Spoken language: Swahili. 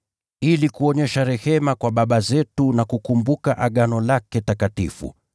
ili kuonyesha rehema kwa baba zetu na kukumbuka Agano lake takatifu,